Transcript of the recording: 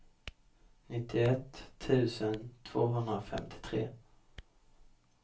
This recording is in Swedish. nittioett tusen tvåhundrafemtiotre